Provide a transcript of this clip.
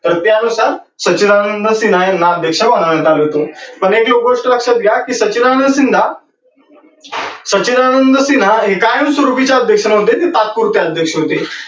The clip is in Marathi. तर त्या नुसार सचिदानंद सिन्हा यांना अध्यक्ष बनवण्यात आले होते. पण हे तुम्ही गोष्ट लक्षात घ्या कि सचिदानंद सिन्हा, सचिदानंद सिन्हा हे कायम स्वरुपिचे अध्यक्ष नव्हते ते तात्पुरते अध्यक्ष होते